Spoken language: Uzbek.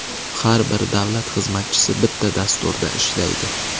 Har bir davlat xizmatchisi bitta dasturda ishlaydi.